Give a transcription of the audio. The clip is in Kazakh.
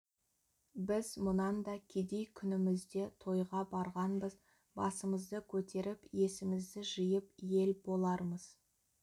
біз мұнан да кедей күнімізде тойға барғанбыз басымызды көтеріп есімізді жиып ел болармыз